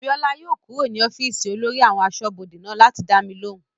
Bíọ́lá yóò kúrò ní ọ́fìsì olórí àwọn asọ́bodè náà láti dá mi lóhùn